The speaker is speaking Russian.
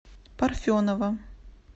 парфенова